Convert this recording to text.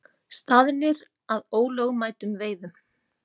Staðnir að ólögmætum veiðum